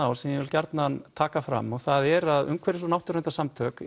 á sem ég vil gjarnan taka fram og það er að umhverfis og náttúruverndarsamtök